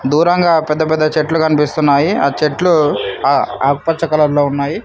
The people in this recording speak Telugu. దూరంగా పెద్దపెద్ద చెట్లు కనిపిస్తున్నాయి ఆ చెట్లు ఆకుపచ్చ కలర్ లో ఉన్నాయి.